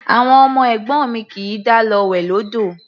Àwọn ọmọ ẹ̀gbọ́n mi kì í dá lọ wẹ̀ lódò.